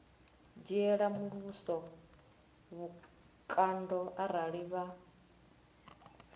dzhiela muvhuso vhukando arali vha